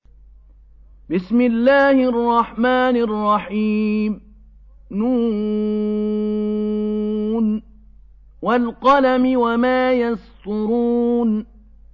ن ۚ وَالْقَلَمِ وَمَا يَسْطُرُونَ